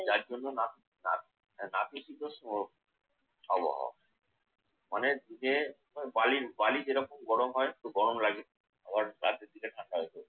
যার জন্যে নাত নাত! নাতিশীতোষ্ণ আবহাওয়া। মানের দিকে ওই বালির বালি যেরকম গরম হয় একটু গরম লাগে। আবার রাত্রের দিকে ঠান্ডা হয়ে যায়।